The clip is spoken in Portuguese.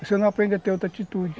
Você não aprende a ter outra atitude.